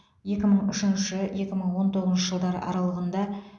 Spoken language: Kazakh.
екі мың үшінші екі мың он тоғызыншы жылдар аралығында